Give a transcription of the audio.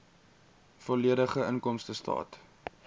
volledige inkomstestaat